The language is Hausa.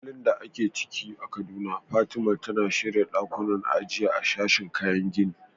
A halin da ake ciki a Kaduna, Fatima, tana shirya ɗakunan ajiya a sashin kayan gini.